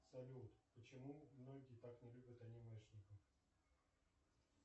салют почему многие так не любят анимешников